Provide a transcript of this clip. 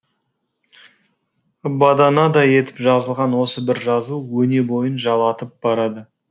баданадай етіп жазылған осы бір жазу өне бойын жалатып барады